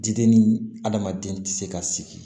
Diden ni adamaden tɛ se ka sigi